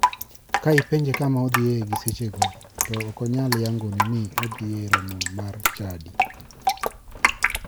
Ka ipenje kama odhiye gi e sechego to ok onyal yangoni ni odhi e romo mar chadi.